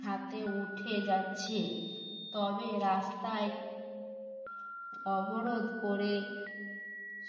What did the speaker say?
হাতে উঠে যাচ্ছে তবে রাস্তায় অবরোধ করে